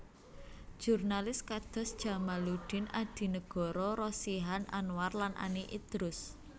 Jurnalis kados Djamaluddin Adinegoro Rosihan Anwar lan Ani Idrus